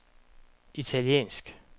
italiensk